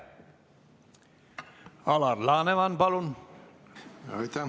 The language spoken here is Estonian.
Alar Laneman, palun!